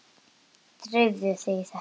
Drífðu þetta þá í þig.